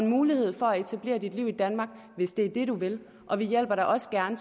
mulighed for at etablere dig og leve i danmark hvis det er det du vil og vi hjælper dig også gerne